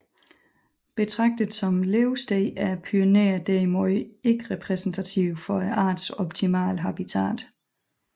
Betragtet som levested er Pyrenæerne derimod ikke repræsentativ for artens optimale habitat